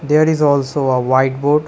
There is also a white board.